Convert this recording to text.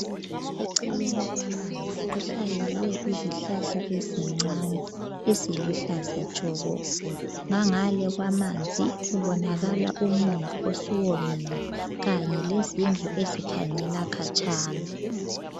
Eceleni kwamanzi kuhlanyelwe izihlahla ezincane, eziluhlaza tshoko. Ngangale kwamanzi kubonakala umumbu osuwomile kanyevlezindlu ezikhanyela khatshana.